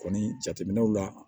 Kɔni jateminɛw la